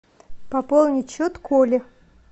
пополнить счет коли